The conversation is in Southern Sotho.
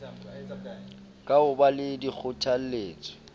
ka ho ba le dikgothaletso